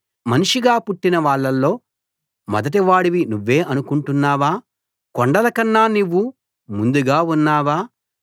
మనిషిగా పుట్టిన వాళ్ళలో మొదటివాడివి నువ్వే అనుకుంటున్నావా కొండలకన్నా నువ్వు ముందుగా ఉన్నావా